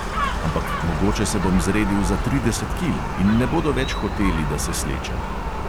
Ampak mogoče se bom zredil za trideset kil in ne bodo več hoteli, da se slečem.